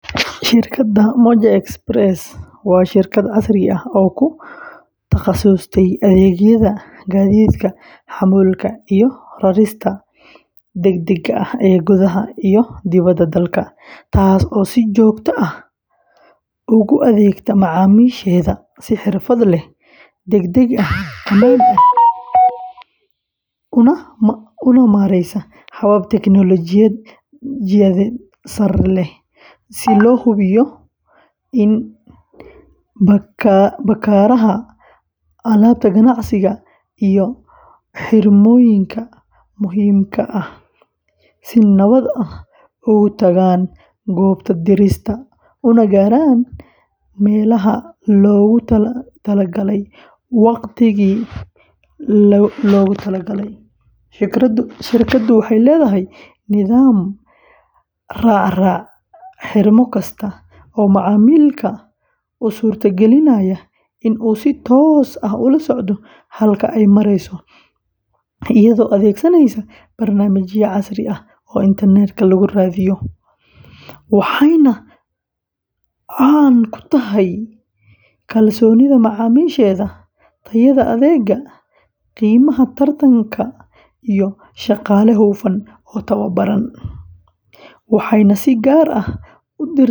Shirkadda Moja Express waa shirkad casri ah oo ku takhasustay adeegyada gaadiidka xamuulka iyo rarista degdegga ah ee gudaha iyo dibadda dalka, taas oo si joogto ah ugu adeegta macaamiisheeda si xirfad leh, degdeg ah, ammaan ah, una maraysa habab tignoolajiyad sare leh si loo hubiyo in baakadaha, alaabta ganacsiga, iyo xirmooyinka muhiimka ah ay si nabad ah uga tagaan goobta dirista una gaaraan meelaha loogu talagalay waqtigii loogu talagalay; shirkaddu waxay leedahay nidaam raacraaca xirmo kasta oo macaamilka u suurtagelinaya in uu si toos ah ula socdo halka ay marayso, iyadoo adeegsanaysa barnaamijyo casri ah oo internetka lagu raadiyo, waxayna caan ku tahay kalsoonida macaamiisheeda, tayada adeegga, qiimaha tartanka, iyo shaqaale hufan oo tababaran, waxayna si gaar ah .